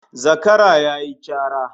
Zakara yayi cara